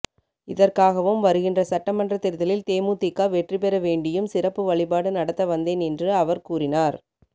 இதற்காகவும் வருகின்ற சட்டமன்றத் தேர்தலில் தேமுதிக வெற்றி பெற வேண்டியும் சிறப்பு வழிபாடு நடத்த வந்தேன் என்று அவர் கூரினார்